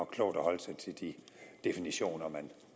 klogt at holde sig til de definitioner